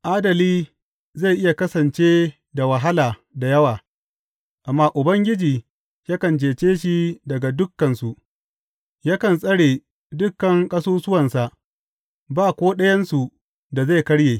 Adali zai iya kasance da wahala da yawa, amma Ubangiji yakan cece shi daga dukansu; yakan tsare dukan ƙasusuwansa, ba ko ɗayansu da zai karye.